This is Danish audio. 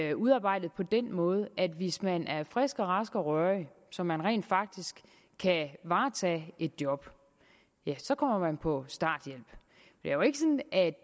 er udarbejdet på den måde at hvis man er frisk og rask og rørig så man rent faktisk kan varetage et job så kommer man på starthjælp det er jo ikke sådan at